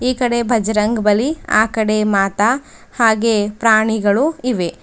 ಈ ಕಡೆ ಬಜರಂಗ್ ಬಲಿ ಆ ಕಡೆ ಮಾತಾ ಹಾಗೆ ಪ್ರಾಣಿಗಳು ಇವೆ.